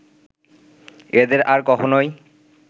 এদের আর কখনোই